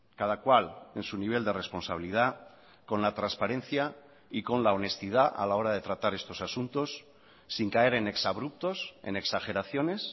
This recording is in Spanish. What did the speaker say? cada cual en su nivel de responsabilidad con la transparencia y con la honestidad a la hora de tratar estos asuntos sin caer en exabruptos en exageraciones